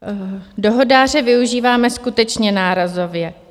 Dohodáře využíváme skutečně nárazově.